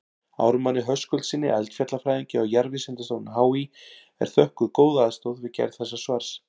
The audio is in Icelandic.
Ármanni Höskuldssyni eldfjallafræðingi á Jarðvísindastofnun HÍ er þökkuð góð aðstoð við gerð þessa svars.